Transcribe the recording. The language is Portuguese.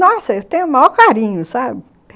Nossa, eu tenho o maior carinho, sabe?